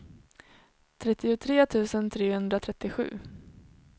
trettiotre tusen trehundratrettiosju